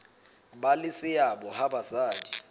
ba le seabo ha basadi